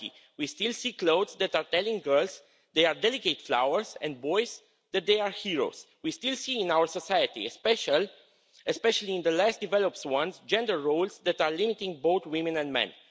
We still see clothes that are telling girls they are delicate flowers and boys that they are heroes. We still see in our society, especially in the less developed ones, gender roles that are limiting both women and men.